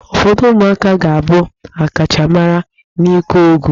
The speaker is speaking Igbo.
Ụfọdụ ụmụaka ga-abụ ọkachamara n'ịgụ egwu.